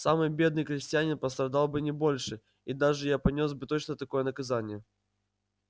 самый бедный крестьянин пострадал бы не больше и даже я понёс бы точно такое наказание